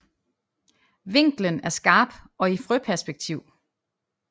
Vinklen er skarp og i frøperspektiv